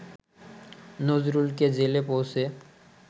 নজরুলকে জেলে পৌঁছে